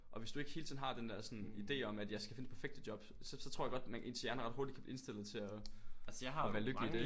Og hvis du ikke hele tiden har den der sådan idé om at jeg skal finde det perfekte job så tror jeg godt at man ens hjerne ret hurtigt kan blive indstillet til at at være lykkelig i det